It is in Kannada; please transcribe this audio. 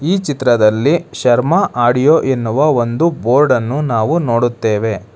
ಈ ಚಿತ್ರದಲ್ಲಿ ಶರ್ಮ ಆಡಿಯೋ ಎನ್ನುವ ಒಂದು ಬೋರ್ಡನ್ನು ನಾವು ನೋಡುತ್ತೇವೆ.